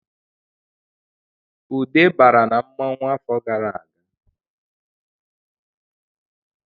Ude bara na mmanwu afọ gara aga